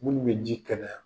Munnu be ji kɛnɛya